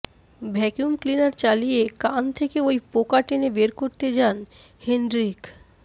vacuum cleaner চালিয়ে কান থেকে ওই পোকা টেনে বের করতে যান হেনড্রিক